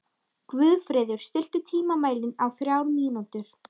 Guðfreður, stilltu tímamælinn á þrjár mínútur.